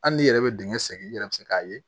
Hali n'i yɛrɛ bɛ dingɛ sen i yɛrɛ bɛ se k'a ye